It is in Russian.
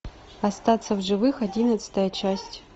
остаться в живых одиннадцатая часть